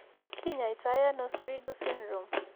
Ki ny'aaitono cri du syndrome?